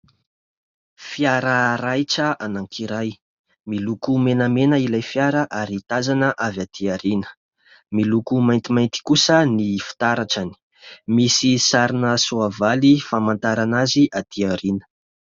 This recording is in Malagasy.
Fiara raitra anankiray. Miloko menamena ilay fiara ary tazana avy aty aoriana. Miloko maintimainty kosa ny fitaratrany. Misy sarina soavaly famantarana azy aty aoriana.